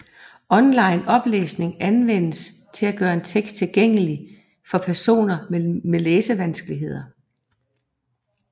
Online oplæsning anvendes til at gøre en tekst tilhængelig for personer med læsevanskeligheder